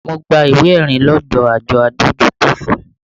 Mo gba ìwé ẹ̀rí lọdọ àjọ adójútòfò